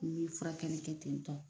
N bi furakɛli kɛ ten tɔ.